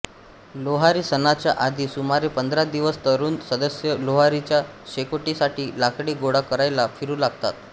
लोहारी सणाच्या आधी सुमारे पंधरा दिवस तरुण सदस्य लोहारीच्या शेकोटीसाठी लाकडे गोळा करायला फिरू लागतात